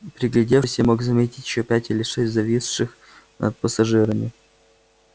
приглядевшись я мог заметить ещё пять или шесть зависших над пассажирами